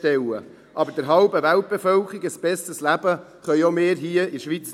Aber auch wir hier in der Schweiz können nicht der halben Weltbevölkerung ein besseres Leben bieten.